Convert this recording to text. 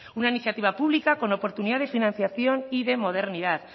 una iniciativa pública con oportunidad de financiación y de modernidad